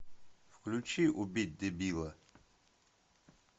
включи убить дебила